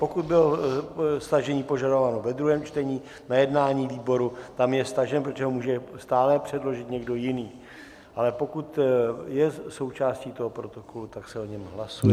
Pokud bylo stažení požadováno ve druhém čtení na jednání výboru, tam je stažen, protože ho může stále předložit někdo jiný, ale pokud je součástí toho protokolu, tak se o něm hlasuje.